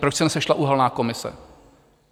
Proč se nesešla uhelná komise?